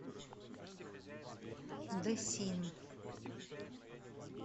дэсин